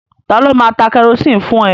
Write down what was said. Ta ló máa ta kẹrosini fún ẹ?